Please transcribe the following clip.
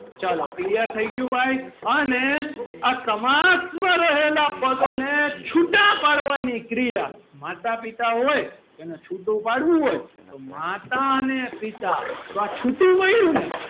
ચલો clear થય ગયું ભાઈ અને આ સમાસ માં રહેલા પદો ને છુટા પાડવાની ક્રિયા માતા પિતા હોય તેને છુટું પાડવું હોય તો માતા અને પિતા તો આ છુટું પાડ્યું ને,